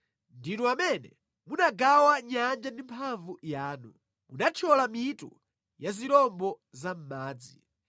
Ndinu amene munagawa nyanja ndi mphamvu yanu; munathyola mitu ya zirombo za mʼmadzi.